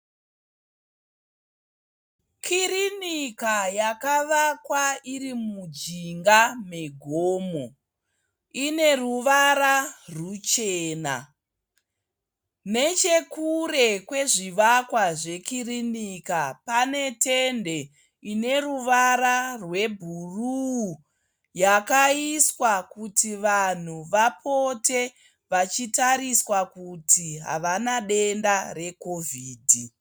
Kirinika yakavakwa iri mujinga megomo. Ine ruvara ruchena. Nechekure kwezvivakwa zvekirinika pane tende ine ruvara rwebhuru. Yakaiswa kuti vanhu vapote vachitariswa kuti havana denda rekovhidhi.